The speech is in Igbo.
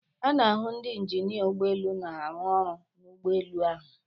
A na-ahụ ndị injinia ụgbọ elu na-arụ ọrụ n'ụgbọelu ahụ.